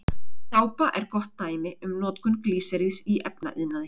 Sápa er gott dæmi um notkun glýseríðs í efnaiðnaði.